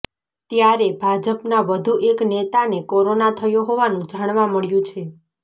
ત્યારે ભાજપના વધુ એક નેતાને કોરોના થયો હોવાનું જાણવા મળ્યું છે